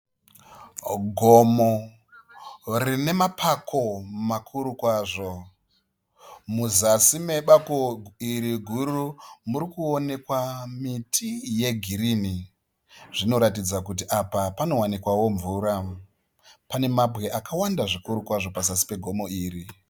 Gomo rine mapako makuru kwazvo. Muzasi mebako iri guru muri kuonekwa miti yegirini. Zvinoratidza kuti apa panowanikwawo mvura. Pane mabwe akawanda zvikuru kwazvo pazasi pegomo iri.